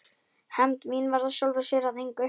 Hefnd mín varð af sjálfu sér að engu.